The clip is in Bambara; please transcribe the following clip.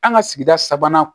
An ka sigida sabanan